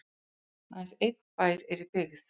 aðeins einn bær er í byggð